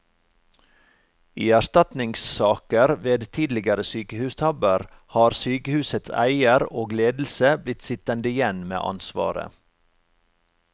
I erstatningssaker ved tidligere sykehustabber har sykehusets eier og ledelse blitt sittende igjen med ansvaret.